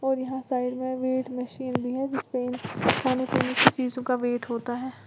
और यहां साइड में वेट मशीन भी है जिस पर खाने पीने की चीजों का वेट होता है।